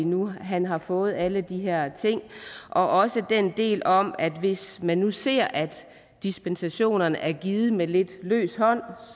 nu han har fået alle de her ting og også den del om at hvis man nu ser at dispensationerne er givet med lidt løs hånd